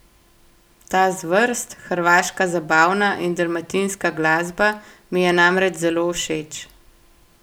Ta zvrst, hrvaška zabavna in dalmatinska glasba, mi je namreč zelo všeč.